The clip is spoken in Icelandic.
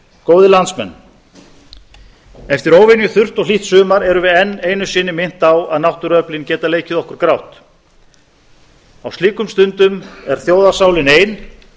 góðir landsmenn eftir óvenjuþurrt og hlýtt sumar erum við enn einu sinni minnt á að náttúruöflin geta leikið okkur grátt á slíkum stundum er þjóðarsálin ein